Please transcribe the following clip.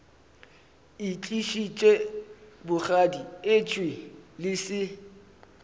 itlišitše bogadi etšwe le se